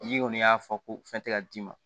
N'i kɔni y'a fɔ ko fɛn tɛ ka d'i ma